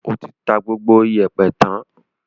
O ti ta gbogbo ìyẹ̀pẹ̀ tán?